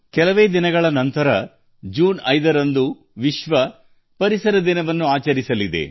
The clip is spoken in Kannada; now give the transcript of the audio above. ಕೆಲವೇ ದಿನಗಳ ನಂತರ ಜೂನ್ 5 ಅನ್ನು ವಿಶ್ವ ಪರಿಸರ ದಿನದ ಹೆಸರಿನಲ್ಲಿ ಆಚರಿಸಲಾಗುತ್ತದೆ